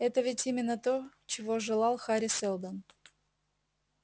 это ведь именно то чего желал хари сэлдон